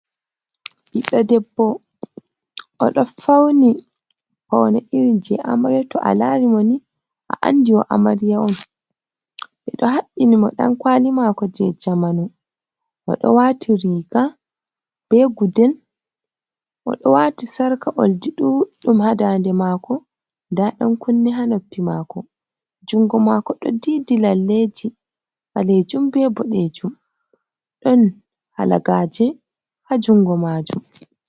Biɗdo, ɗebbo odo fauni, fauna irin je amariya. To alari mo ni a andi o amariya on. Beɗo habbini mo dan kwali mako je jamanu. Odo wati riga be guddel. Odo wati sarka oldi ndudum ha ndande mako. Nda dankunni ha noppi mako. Jungo mako do ɗiɗi laleji balejum be buɗejum. Ɗon halagaje ha jungo majum.